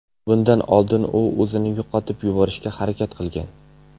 Bundan oldin u o‘zini yoqib yuborishga harakat qilgan.